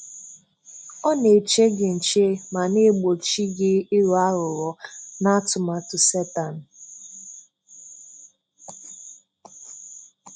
Ọ na-eche gị nche ma na-egbòchì gị ịghọ aghụghọ na atụmatụ Setan.